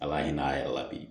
A b'a ɲina a yɛrɛ la bi